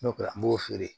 N'o kɛra n b'o feere